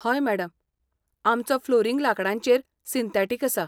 हय मॅडम, आमचो फ्लोरिंग लांकडाचेर सिंथेटिक आसा.